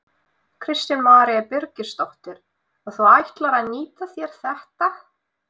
Kristín María Birgisdóttir: Og þú ætlar að nýta þér þetta?